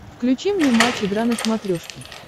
включи мне матч игра на смотрешке